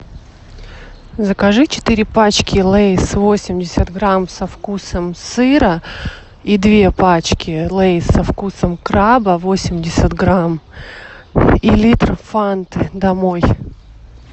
закажи четыре пачки лейс восемьдесят грамм со вкусом сыра и две пачки лейс со вкусом краба восемьдесят грамм и литр фанты домой